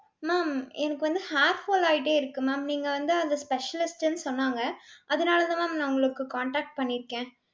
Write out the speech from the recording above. ma'am எனக்கு வந்து hair fall ஆயிட்டே இருக்கு ma'am. நீங்க வந்து அந்த specialist ன்னு சொன்னாங்க. அதனாலதான் நான் உங்களுக்கு contact பண்ணிருக்கேன்.